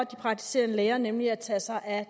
praktiserende læger nemlig at tage sig af